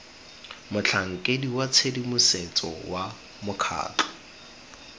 motlhankeding wa tshedimosetso wa mokgatlho